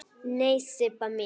Nei, Sibba mín.